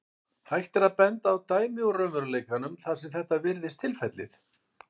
Hægt er að benda á dæmi úr raunveruleikanum þar sem þetta virðist tilfellið.